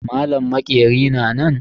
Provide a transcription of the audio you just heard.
Malam maƙeri na nan?